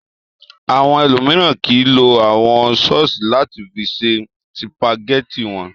Àwọn ẹlòmíràn kì í lo àwọn sọ́ọ́sì láti fi ṣe sìpàgẹ́tì wọn.